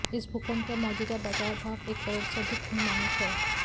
इस भूखंड का मौजूदा बाजार भाव एक करोड़ से अधिक अनुमानित है